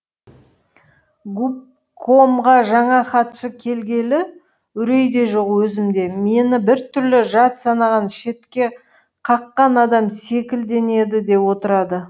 губкомға жаңа хатшы келгелі үрей де жоқ өзімде мені біртүрлі жат санаған шетке қаққан адам секілденеді де отырады